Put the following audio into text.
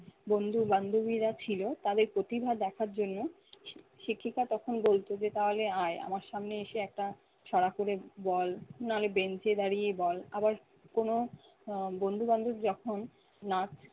বন্ধু বান্ধবীরা ছিল তাদের প্রতিভা দেখার জন্য শিক্ষিকা তখন বলতো যে তাহলে আয় আমার সামনে এসে একটা ছড়া করে বল, না'লে bench এ দাঁড়িয়ে বল, আবার কোন আহ বন্ধুবান্ধব যখন নাচ